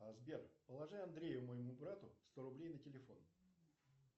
сбер положи андрею моему брату сто рублей на телефон